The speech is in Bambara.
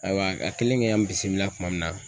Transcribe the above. Ayiwa a kɛlen k'an bisimila kuma min na.